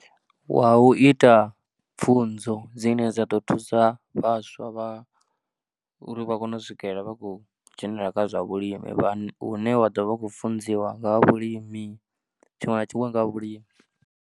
Wa u ita pfhunzo dzine dza ḓo thusa vhaswa vha, uri vha kone u swikela vha khou dzhenelela kha zwa vhulimi vha, u ne wa ḓo vha khou funziwa nga ha vhulimi, tshiṅwe na tshiṅwe nga ha vhulimi.